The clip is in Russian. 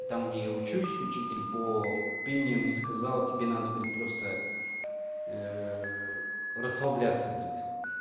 там где я учусь учитель по пению мне сказала тебе надо говорит просто расслабляться говорит